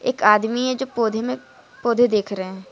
एक आदमी है जो पौधे में पौधे देख रहे हैं।